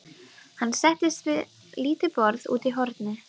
Hann settist við lítið borð úti í horni.